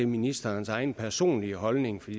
ministerens egen personlige holdning til